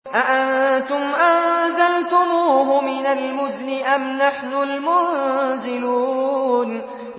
أَأَنتُمْ أَنزَلْتُمُوهُ مِنَ الْمُزْنِ أَمْ نَحْنُ الْمُنزِلُونَ